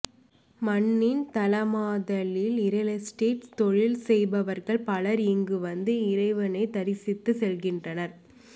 மண்ணின் தலமாதலில் ரியல்எஸ்டேட் தொழில் செய்பவர்கள் பலர் இங்கு வந்து இறைவனை தரிசித்துச் செல்கின்றனர்